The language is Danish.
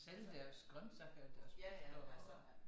Sælge deres grøntsager og og